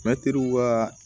Mɛtiriw ka